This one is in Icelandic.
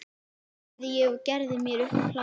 sagði ég og gerði mér upp hlátur.